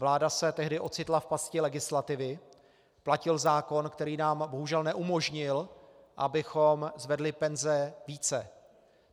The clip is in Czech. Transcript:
Vláda se tehdy ocitla v pasti legislativy, platil zákon, který nám bohužel neumožnil, abychom zvedli penze více.